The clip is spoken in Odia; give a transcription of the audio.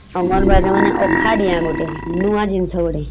ଅଙ୍ଗନବାଡିରେ ମାନେ ଅଖା ଡିଆଁ ଗୋଟେ ନୂଆ ଜିନିଷ ଗୋଟେ ।